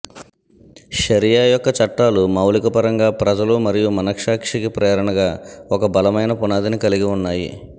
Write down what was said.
షరియా యొక్క చట్టాలు మౌలిక పరంగా ప్రజల మరియు మనస్సాక్షికి ప్రేరణగా ఒక బలమైన పునాదిని కలిగి ఉన్నాయి